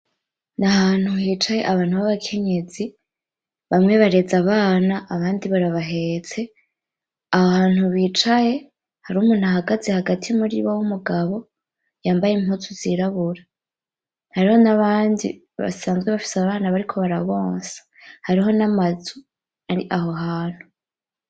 Ni ahantu hicaye abantu b'abakenyezi, bamwe bareze abana, abandi barabahetse. Aho hantu bicaye hariho umuntu ahagaze hagati muri bo w'umugabo yambaye impuzu zirabura, hariho n'abandi basanzwe bafise abana bariko barabonsa, hariho n'amazu ari aho hantu.